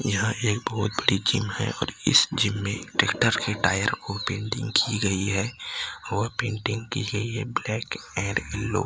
यह एक बहोत बड़ी जिम और इस जिम में ट्रैक्टर के टायर को पेंटिंग की गई है और पेंटिंग की गई है ब्लैक एंड येलो --